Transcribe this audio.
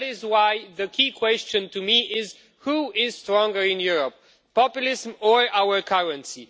That is why the key question for me is who is stronger in Europe populism or our currency?